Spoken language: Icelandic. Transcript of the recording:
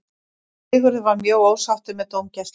Sigurður var mjög ósáttur með dómgæsluna.